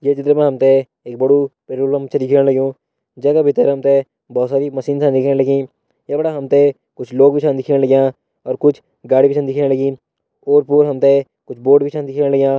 ये चित्र मा हम तैं एक बड़ु पेट्रोल पंप जै का भीतर हम तैं बहुत सारी मशीन छ दिखेण लगीं ये फणा हम तैं कुछ लोग भी छन दिखेण लग्यां और कुछ गाड़ी भी छन दिखेण लगीं ओर पोर हम तैं कुछ बोर्ड भी छन दिखेण लग्यां।